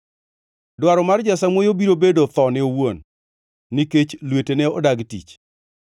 Dwaro mar jasamuoyo biro bedo thone owuon; nikech lwetene odagi tich.